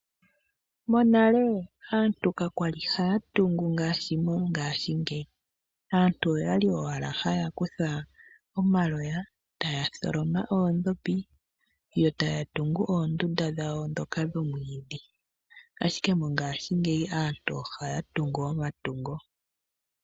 Monale aantu ka kwali haya tungu ngaashi mongashingeyi aantu oyabli owala haya kutha omaloya taya tholoma oondhopi yo taya tungu oondunda dhawo ndhoka dhomwiidhi ashike mongashingeyi aantu ohaya tungu omatungo.